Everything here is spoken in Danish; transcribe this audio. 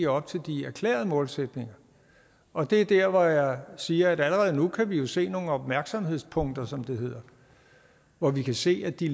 op til de erklærede målsætninger og det er der hvor jeg siger at allerede nu kan vi se nogle opmærksomhedspunkter som det hedder og vi kan se at de